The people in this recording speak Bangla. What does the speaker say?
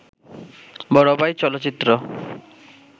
বড় ভাই চলচ্চিত্র